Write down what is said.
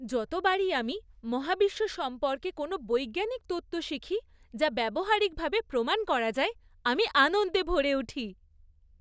যতবারই আমি মহাবিশ্ব সম্পর্কে কোনো বৈজ্ঞানিক তত্ত্ব শিখি যা ব্যবহারিকভাবে প্রমাণ করা যায়, আমি আনন্দে ভরে উঠি।